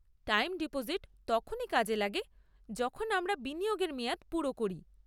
Time deposit তখনই কাজে লাগে যখন আমরা বিনিয়োগের মেয়াদ পুরো করি।